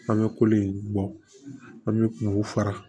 An bɛ kolen bɔ an bɛ o fara